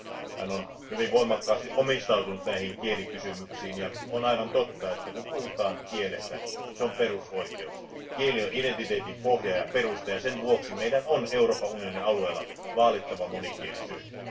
Hän on hyvin voimakkaasti omistautunut näille kielikysymyksille, ja on aivan totta, että kieli on perusoikeus. Kieli on identiteetin pohja ja perusta, ja sen vuoksi meidän on Euroopan unionin alueella vaalittava monikielisyyttä.